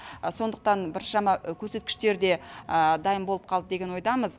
сондықтан біршама көрсеткіштер де дайын болып қалды деген ойдамыз